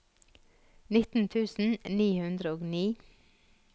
nitten tusen ni hundre og ni